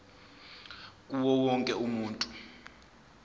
kuwo wonke umuntu